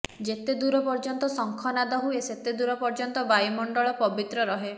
ଯେତେଦୂର ପର୍ଯ୍ୟନ୍ତ ଶଙ୍ଖନାଦ ହୁଏ ସେତେଦୂର ପର୍ଯ୍ୟନ୍ତ ବାୟୁମଣ୍ଡଳ ପବିତ୍ର ରହେ